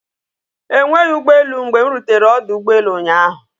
Enweghị ụgbọelụ mgbe m rutere ọdụ ụgbọelụ ụnyaahụ.